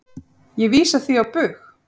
Ég vísa því á bug.